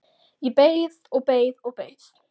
Ég beið og beið og beið!